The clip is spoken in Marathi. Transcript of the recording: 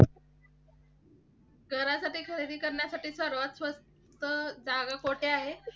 घरासाठी खरेदी करण्यासाठी सर्वात स्वस्त जागा कोठे आहे?